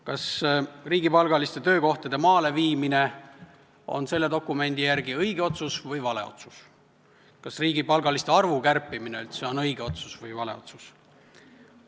Kas riigipalgaliste töökohtade maale viimine on selle dokumendi järgi õige või vale otsus, kas riigipalgalise arvu kärpimine üldse on õige või vale otsus?